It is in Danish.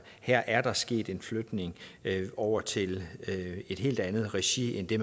her er sket en flytning over til et helt andet regi end det